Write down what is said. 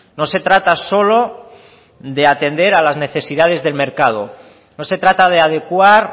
no se trata solo de atender a las necesidades del mercado no se trata de adecuar